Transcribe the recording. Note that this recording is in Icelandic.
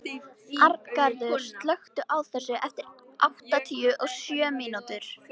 Arngarður, slökktu á þessu eftir áttatíu og sjö mínútur.